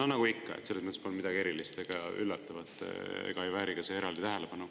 No nagu ikka, selles mõttes polnud seal midagi erilist ega üllatavat ja see ei vääri ka eraldi tähelepanu.